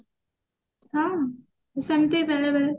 ହଁ ସେମତି ବେଳେ ବେଳେ